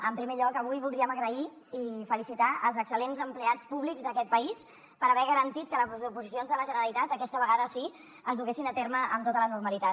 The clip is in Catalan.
en primer lloc avui voldríem donar les gràcies i felicitar els excel·lents empleats públics d’aquest país per haver garantit que les oposicions de la generalitat aquesta vegada sí es duguessin a terme amb tota la normalitat